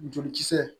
Jolikisɛ